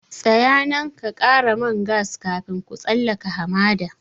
Tsaya nan ka ƙara man gas kafin ku tsallaka hamada!